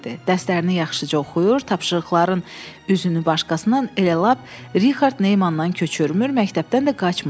Dərsələrini yaxşıca oxuyur, tapşırıqların üzünü başqasından elə lap Rixard Neymandan köçürmür, məktəbdən də qaçmırdı.